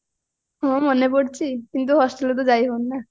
ହଁ ମନେ ପଡୁଚି କିନ୍ତୁ hostelରେ ତ ଯାଇ ହଉନି ନାଁ